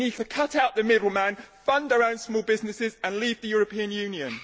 we need to cut out the middle man, fund our own small businesses and leave the European Union.